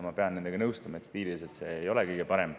Ma pean nendega nõustuma, et stiililiselt ei ole see kõige parem.